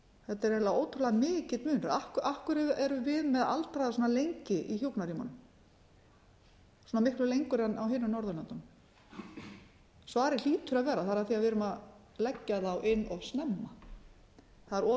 þetta er eiginlega ótrúlega mikill munur af hverju erum við með aldraða svona lengi í hjúkrunarrýmunum svona miklu lengur en á hinum norðurlöndunum svarið hlýtur að vera það er af því við erum að leggja þá inn of snemma það er of